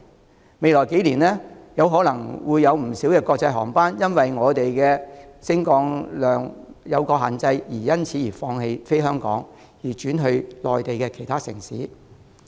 在未來幾年，可能會有不少國際航班因為香港機場的升降量有所限制而放棄香港，轉飛內地其他城市。